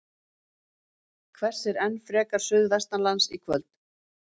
Hvessir enn frekar suðvestanlands í kvöld